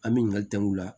An bɛ ɲininkali kɛ u la